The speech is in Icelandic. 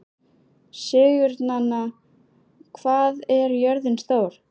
Sigurnanna, hvað er jörðin stór?